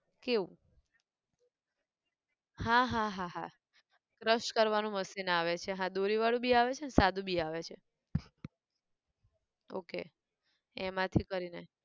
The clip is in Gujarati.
કેવું? હા હા હાહા, crush કરવાનું machine આવે છે, હા દોરી વાળું બી આવે છે ન સાદું બી આવે છે, okay એમાંથી કરી ને